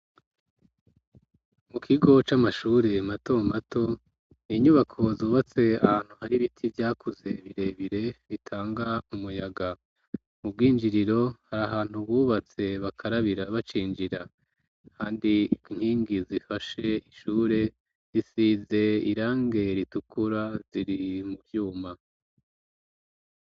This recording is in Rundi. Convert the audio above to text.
Mu kigo c'amashuri mato mato inyubako zubatse ahantu hari ibiti vyakuze birebire bitanga umuyaga, mu bwinjiriro hari ahantu bubatse bakarabira bacinjira, kandi inkingi zifashe ishure zisize irangi ritukura ziri mu vyuma.